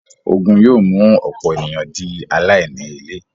Ogun yóò mú ọ̀pọ̀ ènìyàn di “ aláìní-ilé”.